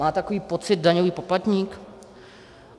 Má takový pocit daňový poplatník?